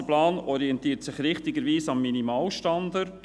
Dieser Masterplan orientiert sich richtigerweise am Minimalstandard.